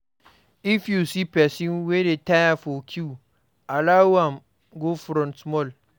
If you see person wey dey tire for queue, allow am go front small